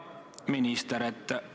Hea minister!